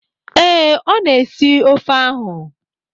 Ee, ọ na-esi ofe ahụ.